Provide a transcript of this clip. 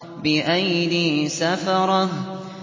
بِأَيْدِي سَفَرَةٍ